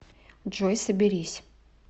джой соберись